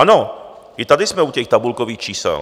Ano, i tady jsme u těch tabulkových čísel.